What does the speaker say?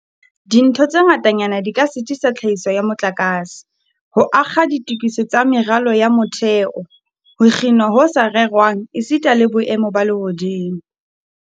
Dintho tse ngatanyana di ka sitisa tlhahiso ya motlakase, ho akga ditokiso tsa meralo ya motheo, ho kginwa ho sa rerwang esita le boemo ba lehodimo.